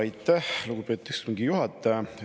Aitäh, lugupeetud istungi juhataja!